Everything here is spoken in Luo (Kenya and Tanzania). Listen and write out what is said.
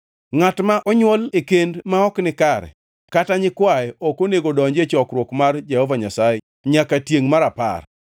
Ngʼat ma onywol e kend ma ok nikare kata nyikwaye ok onego odonji e chokruok mar Jehova Nyasaye nyaka tiengʼ mar apar.